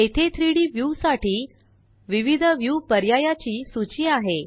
येथे 3Dव्यू साठी विविध व्यू पर्यायाची सूची आहे